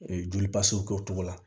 joli pasew kɛ o cogo la